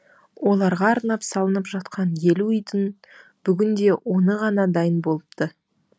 оларға арнап салынып жатқан елу үйдің бүгінде оны ғана дайын болыпты